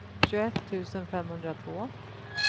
tjugoett tusen femhundratvå